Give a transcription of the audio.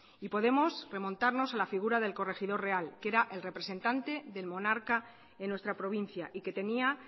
y podemos remontarnos a la figura del corregidor real que era el representante del monarca en nuestra provincia y que tenía